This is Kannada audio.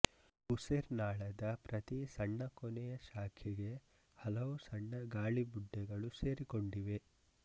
ಉಸಿರ್ನಾಳದ ಪ್ರತಿ ಸಣ್ಣ ಕೊನೆಯ ಶಾಖೆಗೆ ಹಲವು ಸಣ್ಣ ಗಾಳಿ ಬುಡ್ಡೆಗಳು ಸೇರಿಕೊಂಡಿವೆ